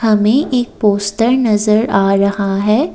हमें एक पोस्टर नजर आ रहा है।